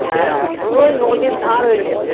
হ্যাঁ ওই নদীর ধার ওই যা